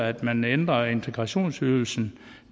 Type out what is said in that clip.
at man ændrer integrationsydelsen